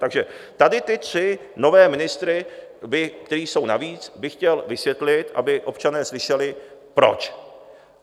Takže tady ty tři nové ministry, kteří jsou navíc, bych chtěl vysvětlit, aby občané slyšeli, proč.